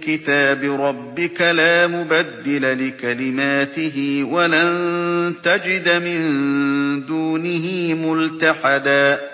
كِتَابِ رَبِّكَ ۖ لَا مُبَدِّلَ لِكَلِمَاتِهِ وَلَن تَجِدَ مِن دُونِهِ مُلْتَحَدًا